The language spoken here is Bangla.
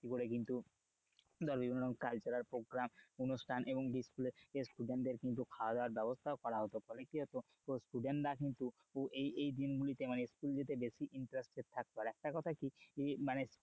ভিত্তি করে কিন্তু ধর বিভিন্ন cultural program অনুষ্ঠান এবং খাওয়া-দাওয়ার ব্যবস্থা করা হতো ফলে কি হতো student রা কিন্তু এই এই দিনগুলিতে স্কুল যেতে কিন্তু বেশি interested থাকতো আর একটা কথা কি মানে,